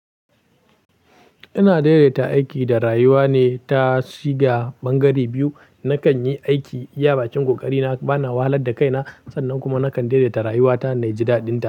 Ina daidaita aiki da rayuwa ne ta shiga bangare biyu. Nakan yi aiki iya bakin ƙoƙari na, bana wahalar da kaina, sannan kuma nakan daidaita rayuwa ta Naji da dinta.